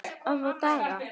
Örfáa daga.